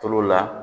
Tulo la